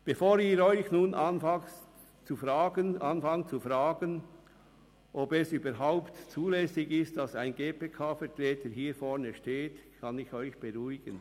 Bevor Sie sich nun zu fragen anfangen, ob es überhaupt zulässig ist, dass ein GPK-Vertreter hier vorne steht, kann ich Sie beruhigen: